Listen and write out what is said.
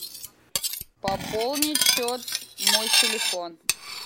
пополнить счет мой телефон